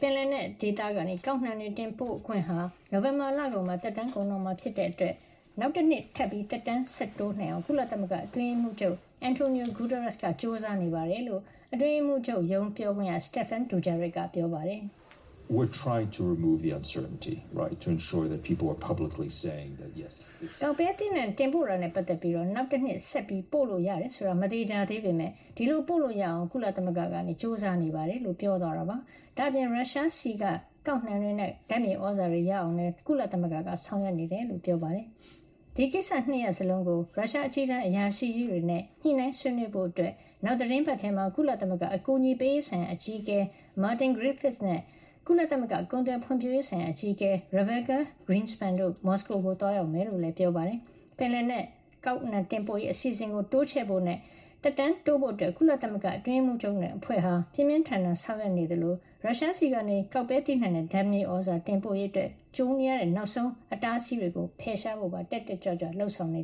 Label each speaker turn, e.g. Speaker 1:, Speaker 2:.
Speaker 1: ပင်လယ်နက်ဒေသကနေ ကောက်နှံတွေ တင်ပို့ခွင့်ဟာ နိုဝင်ဘာလကုန်မှာ သက်တမ်းကုန်တော့မှာ ဖြစ်တဲ့အတွက် နောက်တနှစ် သက်တမ်းဆက်တိုးနိုင်အောင် ကုလသမဂ္ဂအတွင်းရေးမှုးချုပ် Antonio Guterres က ကြိုးစားနေတယ်လို့ အတွင်းရေးမှုးချုပ်ရုံးပြောခွင့်ရ Stephane Dujarric က သောကြာနေ့မှာ ပြောပါတယ်။
Speaker 2: " ကောက်နှံ
Speaker 1: တင်ပို့တာနဲ့ ပတ်သက်ပြီး နောက်တနှစ် ဆက်ပို့လို့ရတယ်ဆိုတာ မသေချာသေးပေမယ့် ဒီလိုပို့လို့ရအောင် ကုလသမဂ္ဂက ကြိုးစားနေပါတယ်” လို့ ပြောသွားတာပါ။ ဒါ့အပြင် ရုရှားဆီက ကောက်နှံတွေနဲ့ ဓါတ်မြေသြဇာတွေ ရအောင်လည်း ကုလသမဂ္ဂက ဆောင်ရွက်နေကြောင်းလည်း ပြောပါတယ်။ ဒါ့အပြင် ဒီကိစ္စရပ် ၂ ခုစလုံးကို ရုရှားအကြီးတန်းအရာရှိကြီးတွေနဲ့ ညှိနှိုင်းဆွေးနွေးဖို့အတွက် နောက်သီတင်းပတ်ထဲမှာပဲ ကုလသမဂ္ဂ အကူအညီပေးရေးဆိုင်ရာ အကြီးအကဲ Martin Griffiths နဲ့ ကုလသမဂ္ဂ ကုန်သွယ်ဖွံ့ဖြိုးရေး ဆိုင်ရာ အကြီးအကဲ Rebeca Grynspan တို့ မော်စကို ကို သွားရောက်မှာဖြစ်ကြောင်းလည်း ပြောပါတယ်။ ပင်လယ်နက် ကောက်နှံတင်ပို့ရေး အစီအစဉ်ကို တိုးချဲ့ဖို့နဲ့ သက်တမ်းတိုးဖို့အတွက် ကုလသမဂ္ဂအတွင်းရေးမှုးချုပ်နဲ့ အဖွဲ့ဟာ ပြင်းပြင်းထန်ထန် ဆောင်ရွက်နေသလို ရုရှားဆီက ကောက်နှံနဲ့ ဓါတ်မြေသြဇာ တင်ပို့ရေးဆိုင်ရာမှာ ကြုံနေရတဲ့ နောက်ဆုံးအတားအဆီး ကိုပါ ဖယ်ရှားဖို့ တက်တက်ကြွကြွ လုပ်ဆောင်နေ